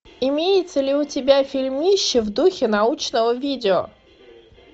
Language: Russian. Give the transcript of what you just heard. имеются ли у тебя фильмище в духе научного видео